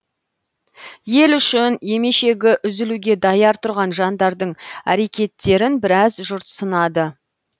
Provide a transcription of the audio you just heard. ел үшін емешегі үзілуге даяр тұрған жандардың әрекеттерін біраз жұрт сынады